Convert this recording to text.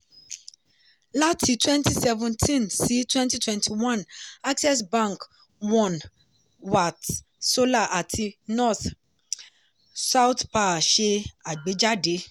láti twenty seventeen sí twenty twenty one access bank one watt solar àti north-south power ṣe agbèjáde.